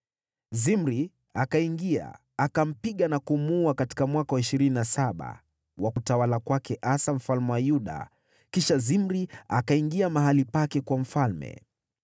Zimri akaingia, akampiga na kumuua katika mwaka wa ishirini na saba wa utawala wa Asa mfalme wa Yuda. Kisha Zimri akaingia mahali pake kuwa mfalme.